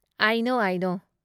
ꯑꯥꯏ ꯅꯣ, ꯑꯥꯏ ꯅꯣ꯫